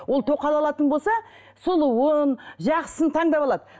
ол тоқал алатын болса сұлуын жақсысын таңдап алады